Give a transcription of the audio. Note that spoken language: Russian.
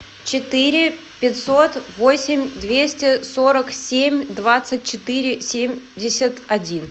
четыре пятьсот восемь двести сорок семь двадцать четыре семьдесят один